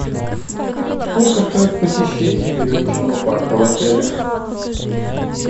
сколько стоит посещение веревочного парка в отеле